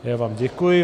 Já vám děkuji.